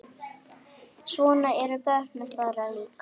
Svona eru börnin þeirra líka.